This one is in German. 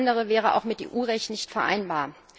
Alles andere wäre auch mit EU Recht nicht vereinbar.